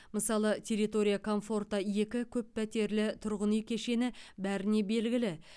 мысалы территория комфорта екі көппәтерлі тұрғын үй кешені бәріне белгілі